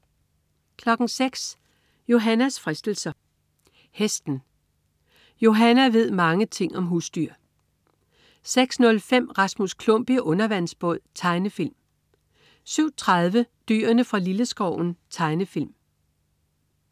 06.00 Johannas fristelser. Hesten. Johanna ved mange ting om husdyr 06.05 Rasmus Klump i undervandsbåd. Tegnefilm 07.30 Dyrene fra Lilleskoven. Tegnefilm